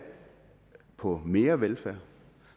på mere velfærd